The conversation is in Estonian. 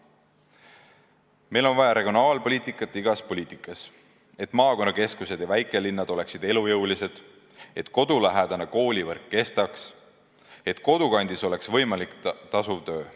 Meil on vaja regionaalpoliitikat igas poliitikavaldkonnas, et maakonnakeskused ja väikelinnad oleksid elujõulised, et kodulähedane koolivõrk kestaks, et kodukandis oleks võimalik tasuv töö.